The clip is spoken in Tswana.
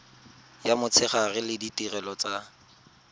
ya motshegare le ditirelo tsa